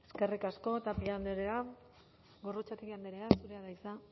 eskerrik asko tapia andrea gorrotxategi andrea zurea da hitza